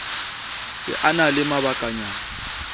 se a na le mabakanyana